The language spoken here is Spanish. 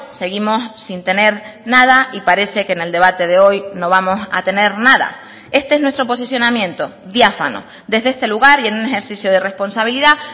seguimos sin tener nada y parece que en el debate de hoy no vamos a tener nada este es nuestro posicionamiento diáfano desde este lugar y en un ejercicio de responsabilidad